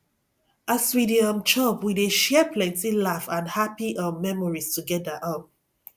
as we dey um chop we dey share plenty laugh and happy um memories together um